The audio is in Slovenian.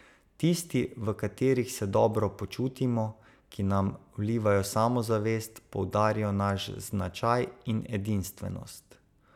Tisti, v katerih se dobro počutimo, ki nam vlivajo samozavest, poudarijo naš značaj in edinstvenost.